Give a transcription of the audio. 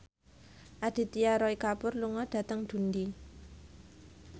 Aditya Roy Kapoor lunga dhateng Dundee